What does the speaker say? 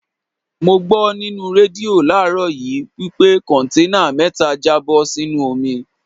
Mo gbó nínú rédíò láàrọ́ yìí wí pé Kọ̀ǹténà mẹ́ta já bó sínú omi.